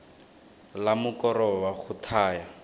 la mokoro wa go thaya